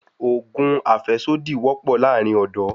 Òògùn àfẹ́sódì wọ́pọ̀ láàrin ọ́dọ̀